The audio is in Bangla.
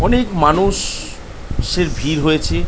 অনেক মানুষ এর ভিড় হয়েছে ।